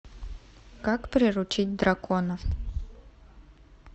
как приручить дракона